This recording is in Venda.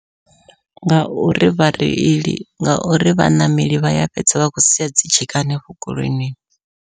Ngauri vhareili ngauri vhaṋameli vha ya fhedza vha khou sia dzi tshika hanefho goloinini.